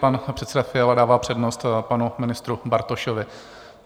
Pan předseda Fiala dává přednost panu ministru Bartošovi.